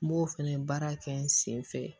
N b'o fɛnɛ baara kɛ n sen fɛ